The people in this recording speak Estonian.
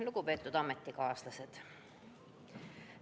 Lugupeetud ametikaaslased!